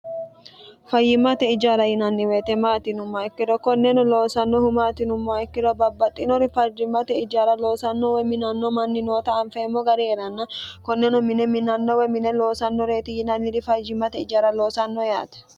fayyimate ijaara yinanni woyete maati yinumma ikkiro konneno loosannohu maati yinummoha ikkiro babbaxxinori fayyimmate ijaara loosanno woy minanno manni noota anfeemmo gari heeranna konneno mine minanno woy mine loosannoreeti yinanniri fayyimate ijaara loosanno yaate.